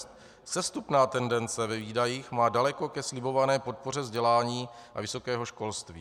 Sestupná tendence ve výdajích má daleko ke slibované podpoře vzdělání a vysokého školství.